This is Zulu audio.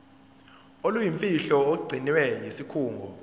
oluyimfihlo olugcinwe yisikhungo